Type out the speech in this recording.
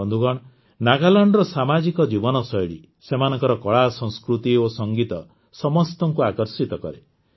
ବନ୍ଧୁଗଣ ନାଗାଲାଣ୍ଡର ସାମାଜିକ ଜୀବନଶୈଳୀ ସେମାନଙ୍କର କଳାସଂସ୍କୃତି ଓ ସଙ୍ଗୀତ ସମସ୍ତଙ୍କୁ ଆକର୍ଷିତ କରେ